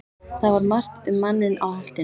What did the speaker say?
Það var margt um manninn á Holtinu.